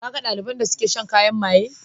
Ka ga ɗaliban da suke shan kayan maye?